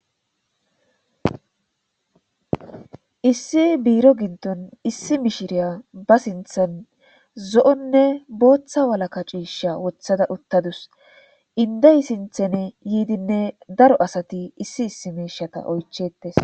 Issi biro giddon issi miishshiriya ba siinththan zo'onne boththa wallaka cishsha woththada uttadus indey siinththeni yidinne daro assati issi issi miishshata oychchetees